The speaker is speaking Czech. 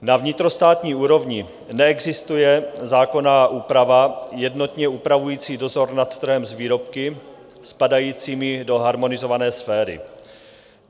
Na vnitrostátní úrovni neexistuje zákonná úprava jednotně upravující dozor nad trhem s výrobky spadajícími do harmonizované sféry.